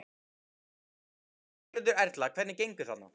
Gunnar Reynir Valþórsson: Berghildur Erla, hvernig gengur þarna?